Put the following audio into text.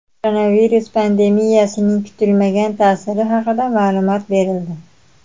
Koronavirus pandemiyasining kutilmagan ta’siri haqida ma’lumot berildi.